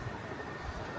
Bu qədər.